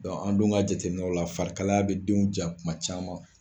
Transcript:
an dun ka jateminɛw la farikalaya bɛ denw ja kuma caman